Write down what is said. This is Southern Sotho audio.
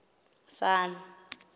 sun